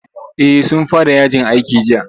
Eh sun fara yajin aiki jiya.